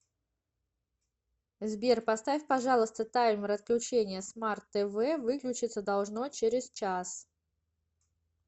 сбер поставь пожалуйста таймер отключения смарт тв выключиться должно через час